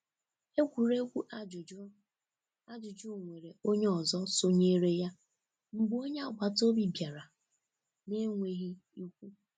Egwuregwu ajụjụ ajụjụ nwere onye ọzọ sonyere ya mgbe onye agbataobi bịara na-enweghị ikwu.